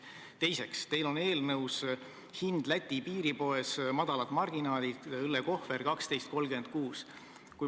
Teiseks, teil on eelnõus kirjas hind Läti piiripoes, väikesed marginaalid, õllekohver maksab 12.36.